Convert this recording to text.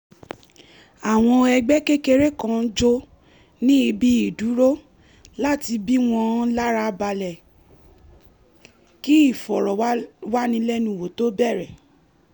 àwọn ẹgbẹ́ kékeré kan jó ní ibi ìdúró láti bí wọ́n lára balẹ̀ kí ìfọ̀rọ̀wánilẹ́nuwò tó bẹ̀rẹ̀